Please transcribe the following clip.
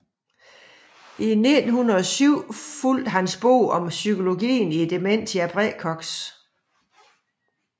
I 1907 fulgte hans bog Om psykologien i Dementia praecox